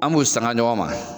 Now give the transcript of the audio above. An b'o sanga ɲɔgɔn ma